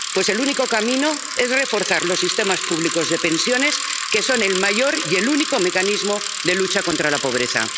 Pues el único camino es reforzar los sistemas públicos de pensiones, que son el mayor y el único mecanismo de lucha contra la pobreza.